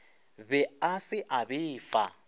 be a se a befa